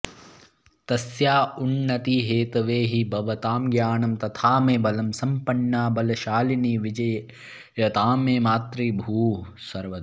तस्या उन्नतिहेतवे हि भवतां ज्ञानं तथा मे बलम् सम्पन्ना बलशालिनी विजयताम् मे मातृभूः सर्वदा